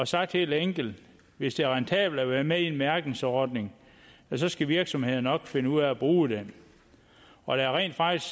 sagt helt enkelt hvis det er rentabelt at være med i en mærkningsordning skal virksomhederne nok finde ud af at bruge den og rent faktisk